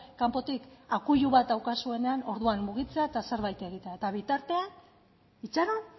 kanpotik akuilu bat daukazuenean orduan mugitzea eta zerbait egitea eta bitartean itxaron